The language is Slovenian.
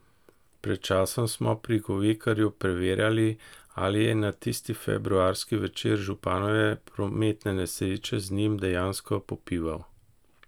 Pred časom smo pri Govekarju preverjali, ali je na tisti februarski večer županove prometne nesreče z njim dejansko popival.